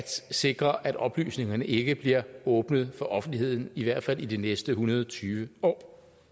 sikre at oplysningerne ikke bliver åbnet for offentligheden i i hvert fald de næste en hundrede og tyve år